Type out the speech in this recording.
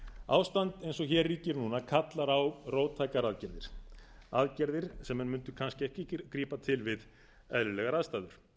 ástand eins og hér ríkir núna kallar á róttækar aðgerðir aðgerðir sem menn mundu kannski ekki grípa til við eðlilegar aðstæður